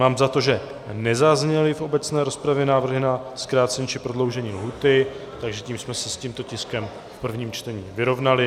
Mám za to, že nezazněly v obecné rozpravě návrhy na zkrácení či prodloužení lhůty, takže tím jsme se s tímto tiskem v prvním čtení vyrovnali.